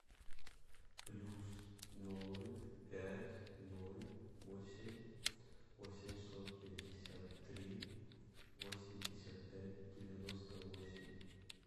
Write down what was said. плюс ноль пять ноль восемь восемьсот пятьдесят три восемьдесят пять девяносто восемь